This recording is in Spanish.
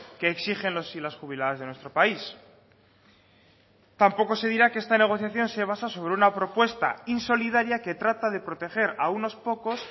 que exigen los y las jubiladas de nuestro país tampoco se dirá que esta negociación se basa sobre una propuesta insolidaria que trata de proteger a unos pocos